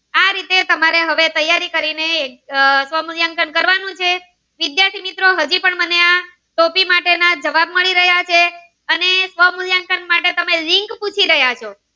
આ રીતે તમારે તૈયારી કરી ને સ્વમુલ્યાંકન કરવાનું છે વિદ્યાર્થી મિત્રો હજી પણ મને આ ટોપી માટે ના જવાબ મળી રહ્યા છે અને સ્વમુલ્યાંકન માટે તમે link પૂછી રહ્યા છે